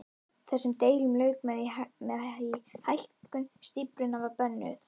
Þessum deilum lauk með því að hækkun stíflunnar var bönnuð.